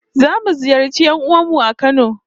Zamu ziyarci 'yan'uwan mu a Kano